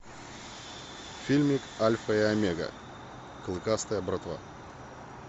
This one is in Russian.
фильмик альфа и омега клыкастая братва